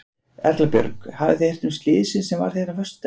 Erla Björg: Hafið þið heyrt um slysið sem varð hérna á föstudaginn?